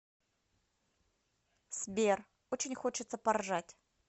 сбер очень хочется поржать